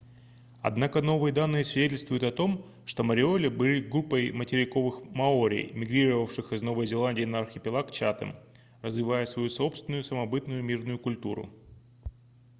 однако новые данные свидетельствуют о том что мориори были группой материковых маори мигрировавших из новой зеландии на архипелаг чатем развивая свою собственную самобытную мирную культуру